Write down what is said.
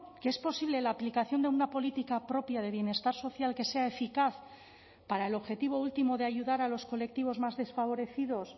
que es posible la aplicación de una política propia de bienestar social que sea eficaz para el objetivo último de ayudar a los colectivos más desfavorecidos